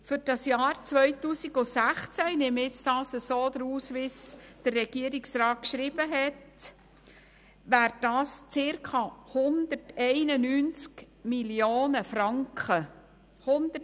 Für das Jahr 2016 wären das etwa 191 Mio. Franken, wie ich ebenfalls der Regierungsantwort entnehme.